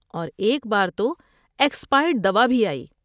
اور ایک بار تو ایکسپائرڈ دوا بھی آئی۔